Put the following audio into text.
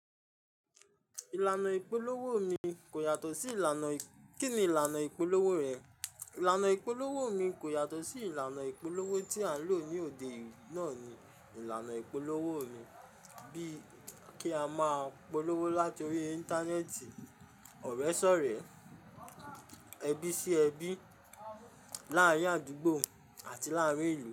Ìlànà ìpolówó mi kò yàtọ̀ sí ìlànà kí ni ìlànà ìpolówó rẹ? Ìlànà ìpolówó mi kò yàtọ̀ sí ìlànà ìpolówó tí à ń lò ní òde eyi. Náà ni ìlànà ìpolówó mi. Bí kí a máa polówó láti orí Íńtánẹ́ẹ̀tì, ọ̀rẹ́ sọ̀rẹ́, ẹbí sí ẹbí, láàárín àdúgbò àti láàárín ìlú.